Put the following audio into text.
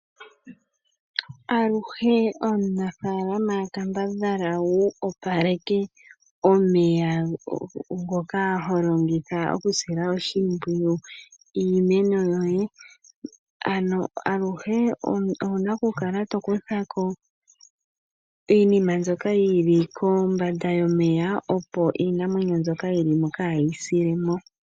Aluhe omunafaalama kambadhala wusile opaleke omeya ngoka holongitha okusila oshimpyiwu iimeno yoye. Ano aluhe owuna okukala tokuthako iinima mbyoka yili kombanda yomeya opo iinamwenyo mbyoka yilimo kaayi silemo